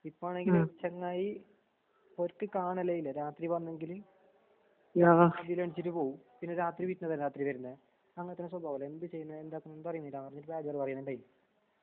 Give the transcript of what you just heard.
ഇപ്പാണെങ്കില് ചെങ്ങായീ ഒരുത്തികാണലേയില്ല രാത്രിവന്നെങ്കില് അതിലെണിച്ചിട്ട്പോവും. പിന്നെ രാത്രിവീട്ടിലാരാത്രിവരുന്നെ. അങ്ങനത്തന്നെസ്വഭാവല്ലെ എന്ത്ചെയ്യുന്നെ എന്താക്കണോന്ന്പറയുന്നില്ല